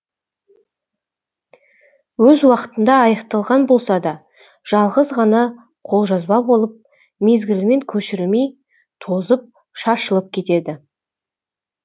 өз уақытында аяқталған болса да жалғыз ғана қолжазба болып мезгілімен көшірілмей тозып шашылып кетеді